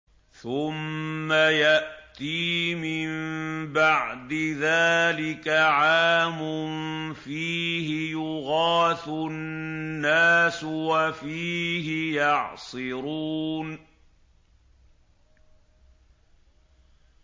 ثُمَّ يَأْتِي مِن بَعْدِ ذَٰلِكَ عَامٌ فِيهِ يُغَاثُ النَّاسُ وَفِيهِ يَعْصِرُونَ